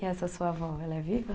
E essa sua avó, ela é viva?